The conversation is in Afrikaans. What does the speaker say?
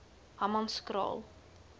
hammanskraal